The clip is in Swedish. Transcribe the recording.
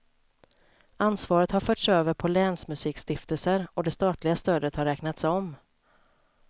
Ansvaret har förts över på länsmusikstiftelser, och det statliga stödet har räknats om.